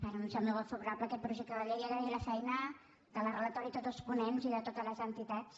anunciar el meu vot favorable a aquest projecte de llei i agrair la feina de la relatora i tots els ponents i de totes les entitats